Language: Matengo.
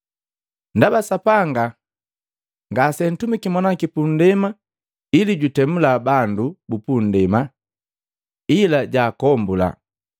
Ndaba Sapanga ngaseantumiki Mwana waki puundema ili jutemula bandu bupundema, ila jaakombula.